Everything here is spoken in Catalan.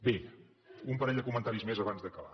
bé un parell de comentaris més abans d’acabar